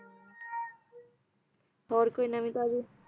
ਹੋਰ ਕੋਈ ਨਵੀ ਤਾਜੀ